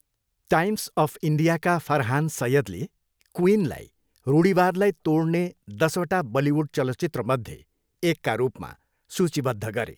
Times of इन्डियाका फरहान सैयदले क्विनलाई रूढिवादलाई तोड्ने दसवटा बलिउड चलचित्रमध्ये एकका रूपमा सूचीबद्ध गरे।